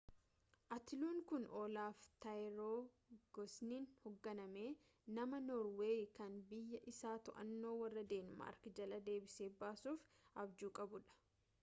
atiluun kun olaaf tiraayigivassooniin hogganame nama norweeyii kan biyya isaa to'annaa warra deenmaark jalaa deebisee baasuuf abjuu qabuudha